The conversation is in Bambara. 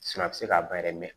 a bɛ se ka bayɛlɛma